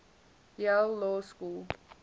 yale law school